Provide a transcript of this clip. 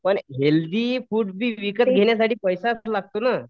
पण healthy food बी विकत घेण्यासाठी पैसाच लागतो नं